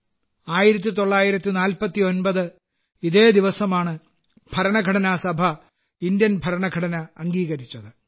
1949 ൽ ഇതേ ദിവസമാണ് ഭരണഘടനാ സഭ ഇന്ത്യൻ ഭരണഘടന അംഗീകരിച്ചത്